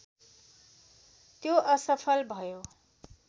त्यो असफल भयो